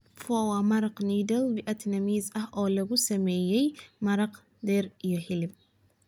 Pho waa maraq noodle Vietnamese ah oo lagu sameeyay maraq, dhir, iyo hilib.